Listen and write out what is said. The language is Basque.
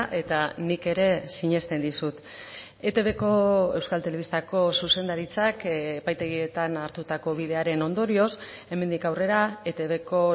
eta nik ere sinesten dizut etbko euskal telebistako zuzendaritzak epaitegietan hartutako bidearen ondorioz hemendik aurrera etbko